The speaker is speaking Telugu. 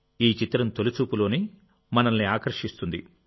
ఈ చిత్రం తొలిచూపులోనే మనల్ని ఆకర్షిస్తుంది